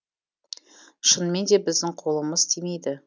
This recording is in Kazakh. шынымен де біздің қолымыз тимейді